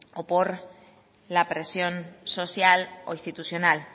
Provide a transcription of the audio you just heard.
o por la presión social o institucional